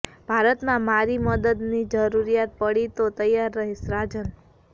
ભારતમાં મારી મદદની જરૂરિયાત પડી તો તૈયાર રહીશઃ રાજન